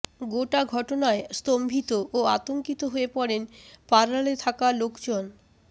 গোটা ঘটনায় স্তম্ভিত ও আতঙ্কিত হয়ে পড়েন পার্লারে থাকা লোকজন